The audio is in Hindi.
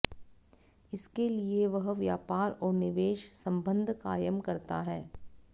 इसके लिए वह व्यापार और निवेश संबंध कायम करता है